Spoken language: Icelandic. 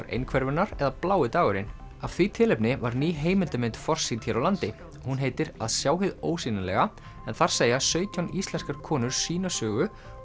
einhverfunnar eða blái dagurinn af því tilefni var ný heimildarmynd forsýnd hér á landi hún heitir að sjá hið ósýnilega en þar segja sautján íslenskar konur sína sögu og